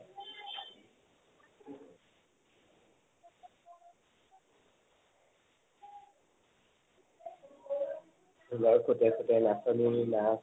ঢোলৰ সুতে সুতে নাচনীৰ নাচ